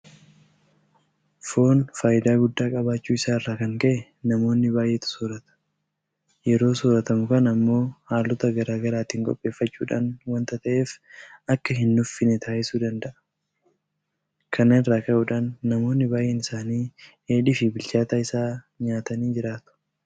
Foon faayidaa guddaa qabaachuu isaa irraa kan ka'e namoonni baay'eetu soorrata. Yeroo soorratamu kana immoo haalota garaa garaatiin qopheeffachuudhaan waanta ta'eef akka hinnuffinee taasisuu danda'a. Kana irraa ka'uudhaan namoonni baay'een isaanii Dheedhiifi bilchaataa isaa nyaatanii jiraatu.